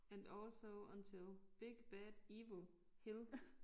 And also until big bad evil hill